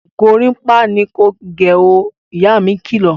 Gorímápá ni kò gẹ ó! Ìyá mi kilọ̀